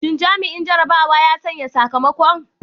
Shin jami'in jarrabawa ya sanya sakamakon?